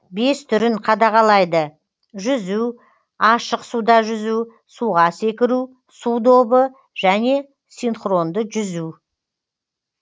бес түрін қадағалайды жүзу ашық суда жүзу суға секіру су добы және синхронды жүзу